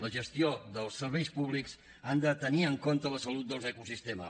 la gestió dels serveis públics ha de tenir en compte la salut dels ecosistemes